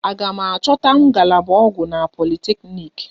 A ga m achọta ngalaba ọgwụ na politeknik?